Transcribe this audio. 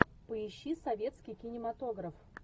поищи советский кинематограф